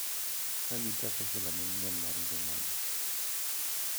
Ka gichako sula manyien mar ngimagi.